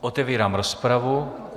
Otevírám rozpravu.